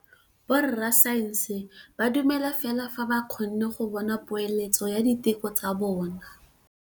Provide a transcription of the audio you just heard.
Borra saense ba dumela fela fa ba kgonne go bona poeletsô ya diteko tsa bone.